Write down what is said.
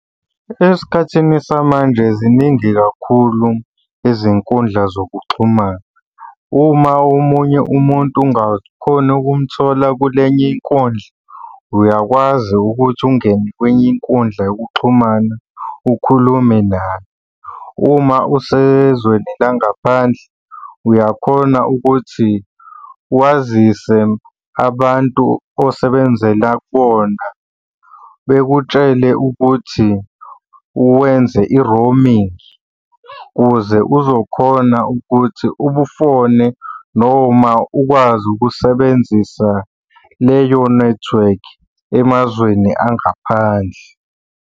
Esikhathini samanje ziningi kakhulu izinkundla zokuxhumana. Uma omunye umuntu ungakhoni ukumthola kule enye inkundla, uyakwazi ukuthi ungene kwenye inkundla yokuxhumana ukhulume naye. Uma usezweni la ngaphandle uyakhona ukuthi wazise abantu osebenzela kubona bekutshele ukuthi uwenze i-roaming ukuze uzokhona ukuthi ubufone noma ukwazi ukusebenzisa leyo nethiwekhi emazweni angaphandle.